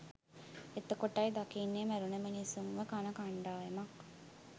එතකොටයි දකින්නේ මැරුණ මිනිස්සුන්ව කන කණ්ඩායමක්